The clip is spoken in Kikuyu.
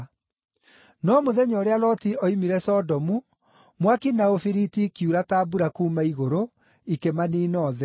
No mũthenya ũrĩa Loti oimire Sodomu, mwaki na ũbiriti ikiura ta mbura kuuma igũrũ, ikĩmaniina othe.